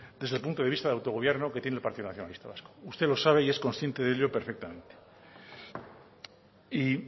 desde el punto de vista de autogobierno que tiene el partido nacionalista vasco usted lo sabe y consciente de ello perfectamente y